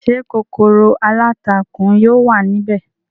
Ṣé kòkòrò aláǹtakùn yóò wà ní ibẹ̀?